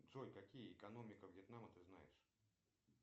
джой какие экономика вьетнама ты знаешь